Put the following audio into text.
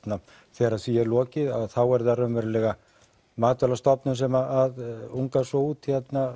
þegar því er lokið þá er það raunverulega Matvælastofnun sem ungar svo út